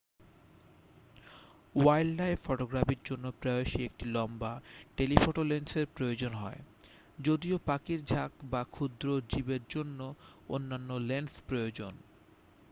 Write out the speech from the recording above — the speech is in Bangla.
ওয়াইল্ডলাইফ ফটোগ্রাফির জন্য প্রায়শই একটি লম্বা টেলিফটো লেন্সের প্রয়োজন হয় যদিও পাখির ঝাঁক বা ক্ষুদ্র জীবের জন্য অন্যান্য লেন্স প্রয়োজন